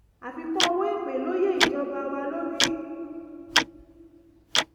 àfikún ọwọ́ èpè ló yé ìjọba wa lórí